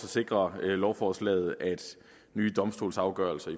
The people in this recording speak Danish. sikrer lovforslaget at nye domstolsafgørelser